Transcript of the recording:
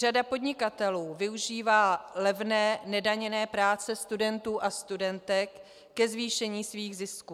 Řada podnikatelů využívá levné nedaněné práce studentů a studentek ke zvýšení svých zisků.